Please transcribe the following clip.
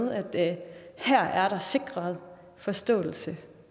at her er der sikret forståelse